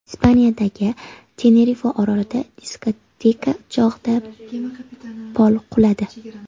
Ispaniyadagi Tenerife orolida diskoteka chog‘ida pol quladi.